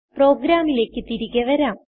പ്രോഗ്രാമിലേക്ക് തിരികെ വരാം